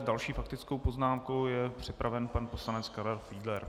S další faktickou poznámkou je připraven pan poslanec Karel Fiedler.